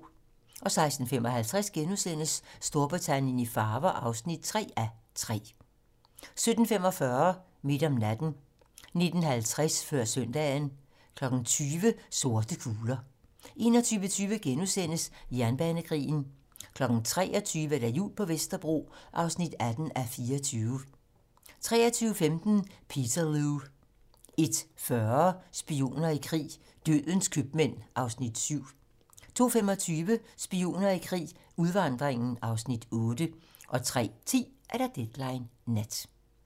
16:55: Storbritannien i farver (3:3)* 17:45: Midt om natten 19:50: Før søndagen 20:00: Sorte kugler 21:20: Jernbanekrigen * 23:00: Jul på Vesterbro (18:24) 23:15: Peterloo 01:40: Spioner i krig: Dødens købmand (Afs. 7) 02:25: Spioner i krig: Udvandringen (Afs. 8) 03:10: Deadline nat